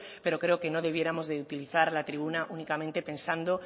pero creo que no debiéramos de utilizar la tribuna únicamente pensando